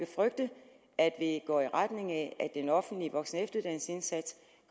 frygte at det går i retning af at den offentlige voksen